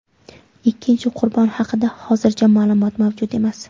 Ikkinchi qurbon haqida hozircha ma’lumot mavjud emas.